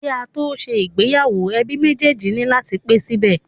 Ki a to ṣe ìgbéyàwó, ẹbí méjèjì ni lati pe sibẹ.